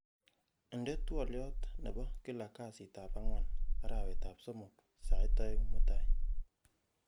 inde twolyot nepo kila kasit ab angwan arawet ab somok sait oeng'mutai